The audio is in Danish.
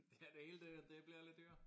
Ja det hele det det bliver lidt dyrere